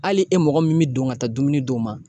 Hali e mɔgɔ min be don ka taa dumuni d'o ma